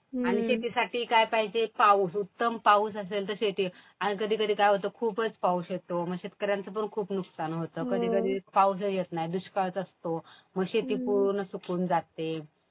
आणि शेतीसाठी काय पाहिजे पाऊस. उत्तम पाऊस असेल तर शेती. आणि कधीकधी काय होतं खूपच पाऊस येतो. मग शेतकऱ्यांचं पण खूप नुकसान होतं. कधीकधी पाऊस नाही. दुष्काळच असतो. मग शेती पूर्ण सुकून जाते.